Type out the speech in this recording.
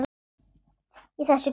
Í þessu greni?